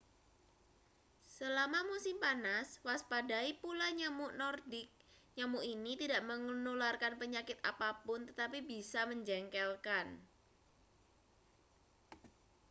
selama musim panas waspadai pula nyamuk nordik nyamuk ini tidak menularkan penyakit apa pun tetapi bisa menjengkelkan